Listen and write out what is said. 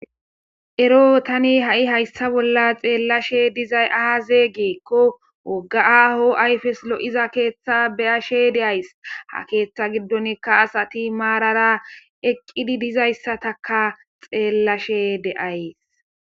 Ero ha'i Tani haysa nolla xeelashe dizay aze giko woga aho ayfes lo'iza keetha beyashe de'ays Ha ketha gidonika asati narara eqidi dizaysataka xeelashe de'ays